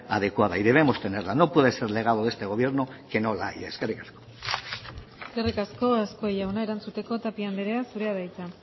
adecuada y debemos de tenerla no puede ser legado de este gobierno que no la haya eskerrik asko eskerrik asko azkue jauna erantzuteko tapia andrea zurea da hitza